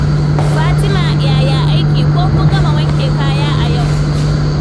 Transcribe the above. Fatima, yaya aiki? Ko kun gama wanke kaya a yau?